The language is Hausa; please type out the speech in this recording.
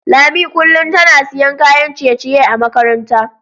Lami kullum tana siyan kayan ciye-ciye a makaranta.